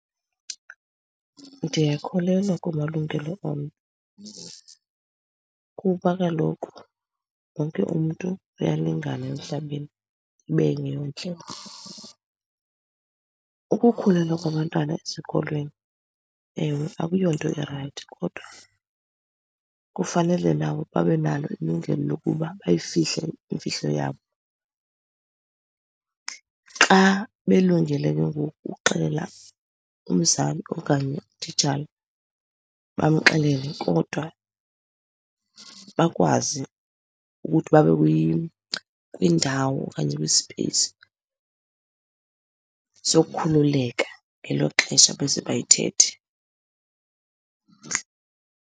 Ndiyakholelwa kumalungelo omnye, kuba kaloku wonke umntu uyalingana emhlabeni ibe ngeyona ndlela. Ukukhulelwa kwabantwana esikolweni ewe, akuyonto irayithi kodwa kufanele nabo babe nalo ilungelo lokuba bayifihle imfihlo yabo. Xa belungele ke ngoku uxelela umzali okanye utitshala bamxelele, kodwa bakwazi ukuthi babe kwindawo okanye kwispeyisi sokukhululeka ngelo xesha beza bayithethe.